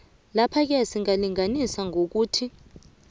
laphake singalinganisa ngokuthi